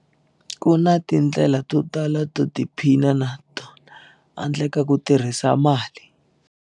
Ku na tindlela totala to tiphina hatona handle ka ku tirhisa mali.